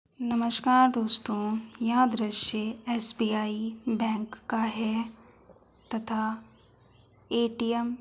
नमस्कार दोस्तों यह दृश्य एस.बी.आई. बैंक का है तथा ए.टी.एम. --